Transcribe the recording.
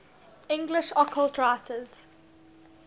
english occult writers